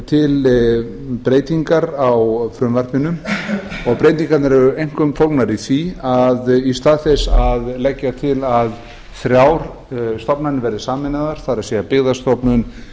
til breytingar á frumvarpinu og breytingarnar eru einkum fólgnar í því að í stað þess að leggja til að þrjár stofnanir verði sameinaðar það er byggðastofnun